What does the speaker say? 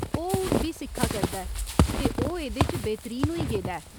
ओह् हून बी सिक्खा करदा ऐ ते ओह् एह्दे च बेहतरीन होई गेदा ऐ।